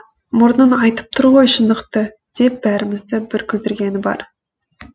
мұрның айтып тұр ғой шындықты деп бәрімізді бір күлдіргені бар